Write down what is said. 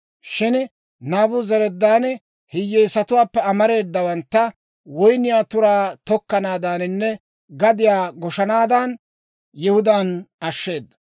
Shin Naabuzaradaani hiyyeesatuwaappe amareedawantta woyniyaa turaa tokkanaadaaninne gadiyaa goshanaadan, Yihudaan ashsheeda.